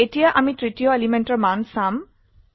এতিয়া আমি তৃতীয় এলিমেন্টৰ মান চাম